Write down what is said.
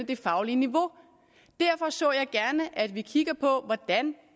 det faglige niveau derfor så jeg gerne at vi kigger på hvordan